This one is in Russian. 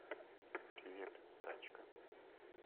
привет тачка